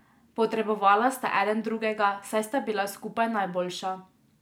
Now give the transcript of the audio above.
Potrebovala sta eden drugega, saj sta bila skupaj najboljša.